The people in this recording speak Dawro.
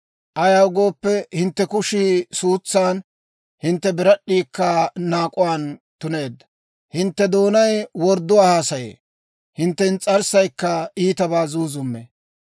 Ayaw gooppe, hintte kushii suutsan, hintte birad'd'iikka naak'uwaan tuneedda; hintte doonay wordduwaa haasaye; hintte ins's'arssaykka iitabaa zuuzummee.